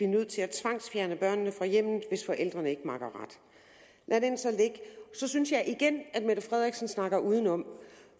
nødt til at tvangsfjerne børnene fra hjemmet hvis forældrene ikke makker ret lad den så ligge så synes jeg igen at fru mette frederiksen snakker udenom